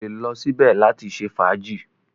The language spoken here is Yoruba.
O lè lọ síbẹ̀ láti ṣe fàájì.